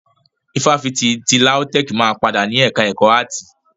Ifáfitì ti LAUTECH máa padà ni ẹka ẹ̀kọ́ áàtì.